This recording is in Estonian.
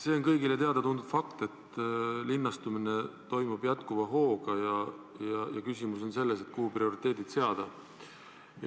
See on kõigile teada-tuntud fakt, et linnastumine toimub jätkuva hooga ja küsimus on selles, kuhu prioriteedid seada.